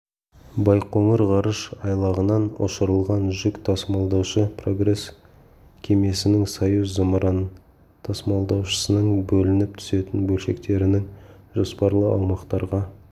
байқоңыр ғарыш айлағынан ұшырылған жүк тасымалдаушы прогресс кемесінің союз зымыран-тасымалдаушысының бөлініп түсетін бөлшектерінінің жоспарлы аумақтарға